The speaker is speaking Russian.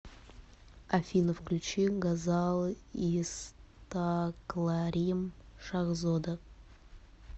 афина включи гозал истакларим шахзода